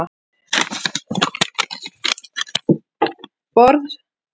Borð svignuðu undan krásum